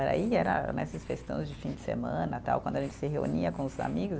Aí era né, esses festões de fim de semana, tal, quando a gente se reunia com os amigos.